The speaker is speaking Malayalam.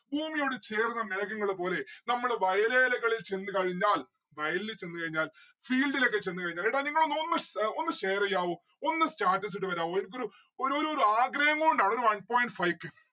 ഭൂമിയോട് ചേർന്ന് മേഘങ്ങള് പോലെ നമ്മള് വയലേലകളില് ചെന്ന് കഴിഞ്ഞാൽ വയലില് ചെന്ന് കഴിഞ്ഞാൽ field ഒക്കെ ചെന്ന് കഴിഞ്ഞാൽ എടാ നിങ്ങളൊന്ന് ഒന്ന് share എയ്യാവോ ഒന്ന് status ഇട്ട് വരാവോ എനിക്കൊരു ഒരു ഒരു ആഗ്രഹം കൊണ്ടാണ്. ഒരു one point five k